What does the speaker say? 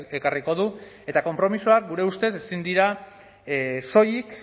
ekarriko du eta konpromisoak gure ustez ezin dira soilik